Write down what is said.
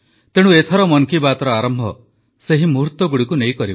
ତେଣୁ ଏଥର ମନ୍ କି ବାତ୍ର ଆରମ୍ଭ କରିବା ସେହି ମୁହୁର୍ତ୍ତଗୁଡ଼ିକୁ ନେଇ